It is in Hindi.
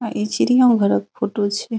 अ इ चिड़िया घरा के फोटो छीये।